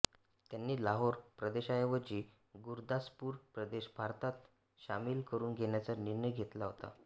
त्यांनी लाहोर प्रदेशाऐवजी गुरदासपूर प्रदेश भारतात शामील करुन घेण्याचा निर्णय घेतला होता